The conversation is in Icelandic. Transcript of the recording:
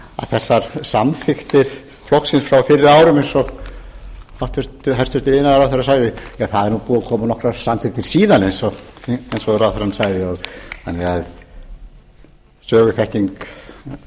þessar samþykktir flokksins frá fyrri árum eins og hæstvirtur iðnaðarráðherra sagði ja það eru nú búnar að koma nokkrar samþykktir síðan eins og ráðherrann sagði þannig að söguþekking